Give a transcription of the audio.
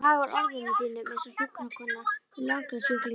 Þú hagar orðum þínum einsog hjúkrunarkona við langlegusjúkling.